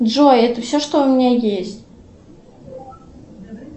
джой это все что у меня есть